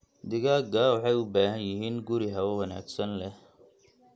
Digaagga waxay u baahan yihiin guri hawo wanaagsan leh.